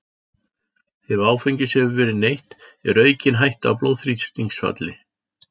Ef áfengis hefur verið neytt er aukin hætta á blóðþrýstingsfalli.